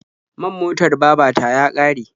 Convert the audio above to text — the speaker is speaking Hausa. Man motar baba ta ya ƙare.